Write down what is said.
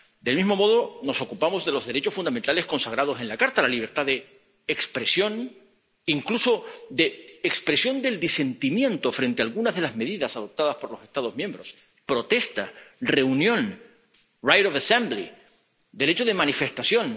Del mismo modo, nos ocupamos de los derechos fundamentales consagrados en la Carta la libertad de expresión —incluso de expresión del disentimiento frente a algunas de las medidas adoptadas por los Estados miembros—, protesta, reunión right of assembly derecho de manifestación.